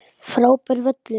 Frábær völlur.